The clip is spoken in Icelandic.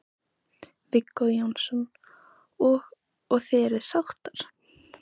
Viggó Jónsson: Og, og þið eruð sáttar?